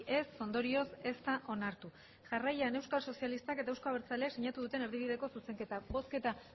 ez ondorioz ez da onartu jarraian euskal sozialistak eta euzko abertzaleak sinatu duten erdibideko zuzenketa bozketa